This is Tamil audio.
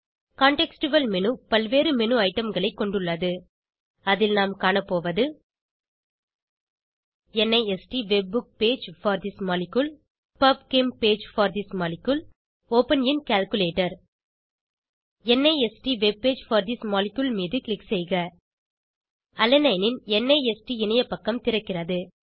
சூழ்நிலை சார்ந்த மேனு பல்வேறு மேனு ஐடம்களை கொண்டுள்ளது அதில் நாம் காணப்போவது NIST web page for this molecule PubChem page for this molecule open in calculator NIST web page for this molecule மீது க்ளிக் செய்க அலனைனின் நிஸ்ட் இணையப்பக்கம் திறக்கிறது